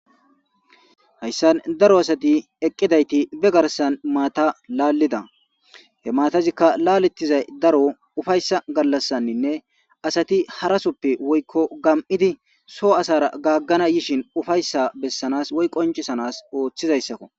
Haysan daro asati eqidati be garsan mata lalida ika qase daro laletiza ufaysa galasanne asati harasoppe gam'idi soho asara gagana yiza wode gagana yishin ufaysa qoncisanas othizaysakko